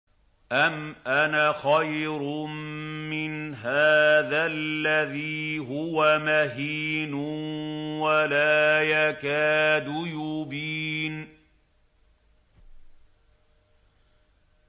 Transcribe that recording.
أَمْ أَنَا خَيْرٌ مِّنْ هَٰذَا الَّذِي هُوَ مَهِينٌ وَلَا يَكَادُ يُبِينُ